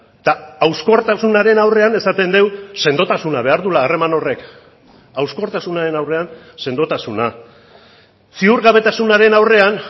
eta hauskortasunaren aurrean esaten dugu sendotasuna behar duela harreman horrek hauskortasunaren aurrean sendotasuna ziurgabetasunaren aurrean